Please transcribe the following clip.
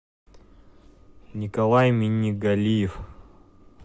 николай минигалиев